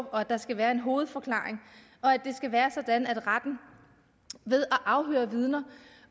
og at der skal være en hovedforklaring og at det skal være sådan at retten ved at afhøre vidner